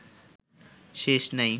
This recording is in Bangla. শেষ নাই